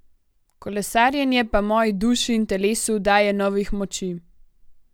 Kolesarjenje pa moji duši in telesu daje novih moči.